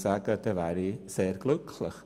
Damit wären wir sehr glücklich.